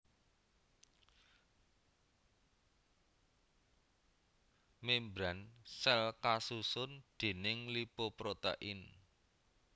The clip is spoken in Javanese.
Membran sèl kasusun déning lipoprotein